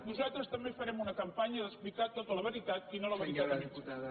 nosaltres també farem una campanya d’explicar tota la veritat i no la veritat a mitges